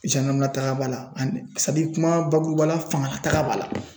lataga b'a la ani kuma bakuruba la fanga lataga b'a la .